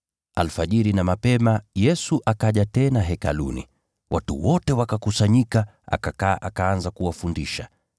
Alfajiri na mapema Yesu akaja tena Hekaluni, watu wote wakakusanyika, akakaa akaanza kuwafundisha.